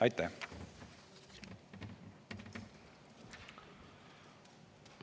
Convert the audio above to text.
Aitäh!